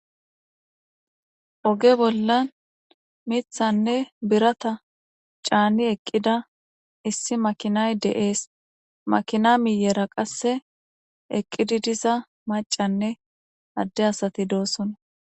Oge bolla mithanne birata caani eqida issi makinay de7ees. Makiana miyera qase eqidi diza macanne ade asati dosona .